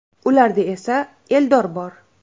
Ularda esa Eldor bor.